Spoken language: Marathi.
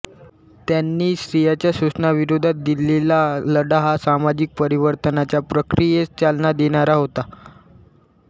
त्यानी स्त्रियांच्या शोषणाविरोधात दिलेला लढा हा सामाजिक परिवर्तनाच्या प्रक्रियेस चालना देणारा होता